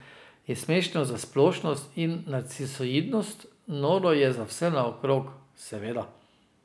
Je smešno za splošnost in narcisoidnost, noro je za vse naokrog, seveda.